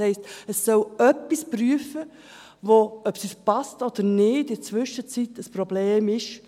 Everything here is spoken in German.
Das heisst, es soll etwas prüfen, das – ob es uns passt oder nicht – in der Zwischenzeit ein Problem ist.